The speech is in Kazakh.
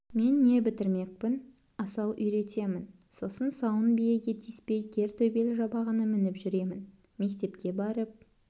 мен не бітірмекпін асау үйретемін сосын сауын биеге тиіспей кер төбел жабағыны мініп жүремін мектепке барып